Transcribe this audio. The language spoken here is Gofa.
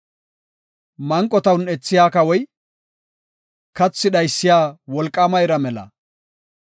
Manqota un7ethiya kawoy kathi dhaysiya wolqaama ira mela.